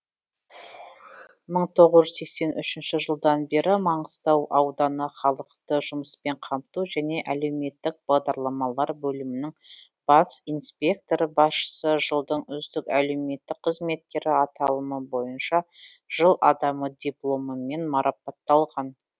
мың тоғыз жүз сексен үшінші жылдан бері маңғыстау ауданы халықты жұмыспен қамту және әлеуметтік бағдарламалар бөлімінің бас инспекторы басшысы жылдың үздік әлеуметтік қызметкері аталымы бойынша жыл адамы дипломымен марапатталған